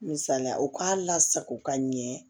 Misalila u k'a lasago ka ɲɛ